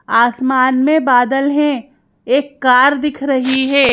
आसमान में बादल हैं एक कार दिख रही है।